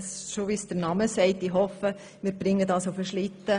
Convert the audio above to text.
Ich hoffe, wir bringen es rechtzeitig auf den Schlitten.